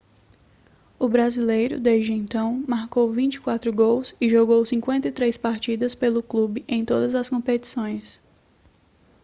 o brasileiro desde então marcou 24 gols e jogou 53 partidas pelo clube em todas as competições